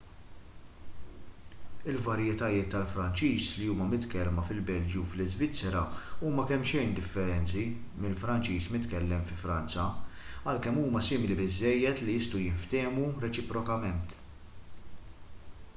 il-varjetajiet tal-franċiż li huma mitkellma fil-belġju u l-iżvizzera huma kemmxejn differenti mill-franċiż mitkellem fi franza għalkemm huma simili biżżejjed li jistgħu jinftehmu reċiprokament